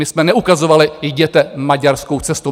My jsme neukazovali: Jděte maďarskou cestou.